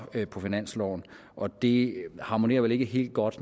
på finansloven og det harmonerer vel ikke helt godt